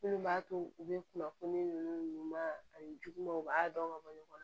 Minnu b'a to u bɛ kunnafoni ninnu ma ani juguman u b'a dɔn ka bɔ ɲɔgɔn na